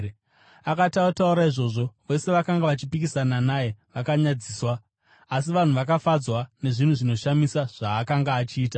Akati ataura izvozvo, vose vakanga vachipikisana naye vakanyadziswa, asi vanhu vakafadzwa nezvinhu zvinoshamisa zvaakanga achiita.